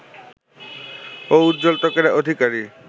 ও উজ্জ্বল ত্বকের অধিকারী